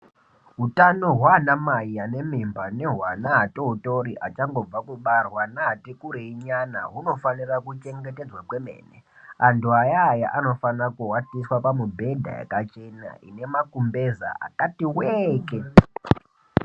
Utanohwaana mai ane mimba nehwaana atotori achangobva kubarwa naati kurei nyana hunofanire kuchengetedzwa kwemene antu ayaya anofanira kuwatiswa pamubhedha yakachena ine makumbeza akati weeeke.